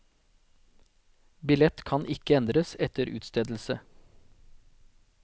Billett kan ikke endres etter utstedelse.